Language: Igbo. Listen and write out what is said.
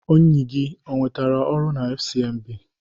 Enyi gị o nwetara ọrụ na FCMB?